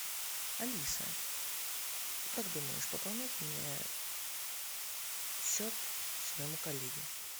алиса как думаешь пополнять мне счет своему коллеге